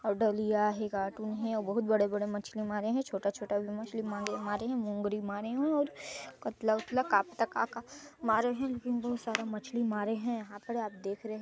ओर डलिया है कार्टून है बहुत बड़े -बड़े मछली मारे है छोटा -छोटा भी मछली मांगे मारे है मूंगरी मारे है ओर कत्ला -वतला का पता का का मारे है लेकिन बहुत सारा मछली मारे है यह पर आप देख रहे हो --